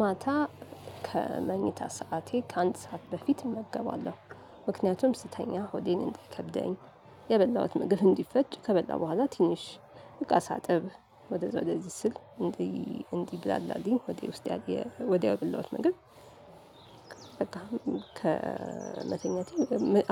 ማታ ከመኝታ ሰዓቴ ከአንድ ሰዓት በፊት እመገባለሁ ምክንያቱም ስተኛ ሆዴን እንዳይከብደኝ የበላሁት ምግብ እንዲፈጭ ከበላሁ በኋላ ትንሽ እቃ ሳጥብ ወደዛ ወደዚህ ስል እንዲ እንዲብላላልኝ ሆዴ ውስጥ ያለ የወዲያው የበላውት ምግብ። በቃ ከመተኛቴ